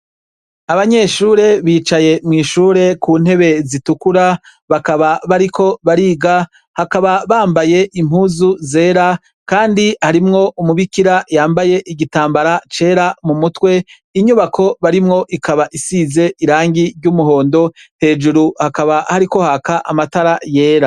Abanyeshure bicaye mw'ishure kuntebe zitukura bakaba bariko bariga, bakaba bambaye impuzu zera kandi harimwo umubikira yambaye igitambara cera mumutwe, inyubako barimwo ikaba isize irangi ry'umuhondo, hejuru hakaba hariko haka amatara yera.